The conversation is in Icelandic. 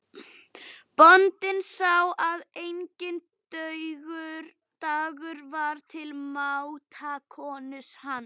Enginn harmaði brottför hans frá Hólum.